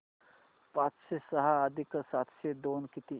पाचशे सहा अधिक सातशे दोन किती